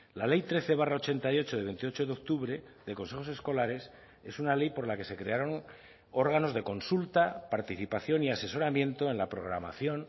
la ley trece barra ochenta y ocho de veintiocho de octubre de consejos escolares es una ley por la que se crearon órganos de consulta participación y asesoramiento en la programación